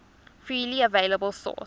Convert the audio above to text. freely available source